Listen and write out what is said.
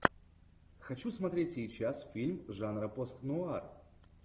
хочу смотреть сейчас фильм жанра пост нуар